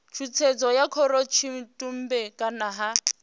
tshutshedzo ya khorotshitumbe kana ha